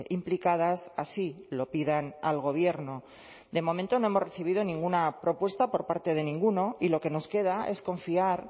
implicadas así lo pidan al gobierno de momento no hemos recibido ninguna propuesta por parte de ninguno y lo que nos queda es confiar